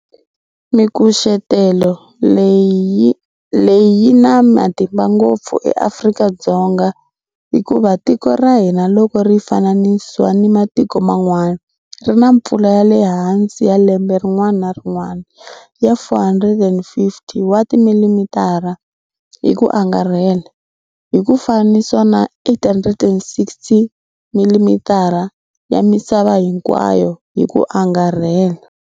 Mikucetelo leyi yi na matimba ngopfu eAfrika-Dzonga hikuva tiko ra hina loko ri fananisiwa ni matiko man'wana ri na mpfula ya le hansi ya lembe rin'wana ni rin'wana ya 450 wa timililitara, ml, hi ku angarhela, hi ku fananisiwa na 860ml ya misava hinkwayo hi ku angarhela.